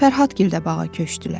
Fərhadgil də bağa köçdülər.